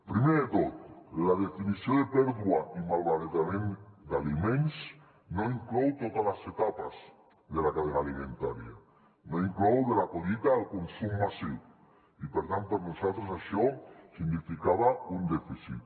primer de tot la definició de pèrdua i malbaratament d’aliments no inclou totes les etapes de la cadena alimentària no inclou de la collita al consum massiu i per tant per a nosaltres això significava un dèficit